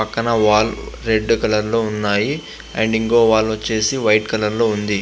పక్కన wall red colour లో ఉన్నాయి అండ్ ఇంకోవ వాల్ వచ్చేసి వైట్ కలర్ లో ఉంది.